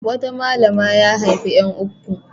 Wata malama ya haifi ƴan uku.